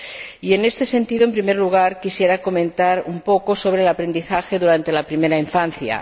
Y, en este sentido, en primer lugar, quisiera hacer un breve comentario sobre el aprendizaje durante la primera infancia.